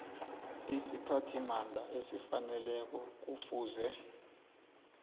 isiphathimandla esifaneleko kufuze